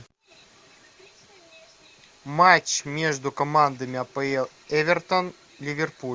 матч между командами апл эвертон ливерпуль